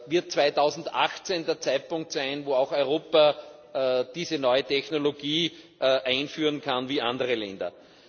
Wird 2018 der Zeitpunkt sein, wo auch Europa diese neue Technologie einführen kann wie andere Länder?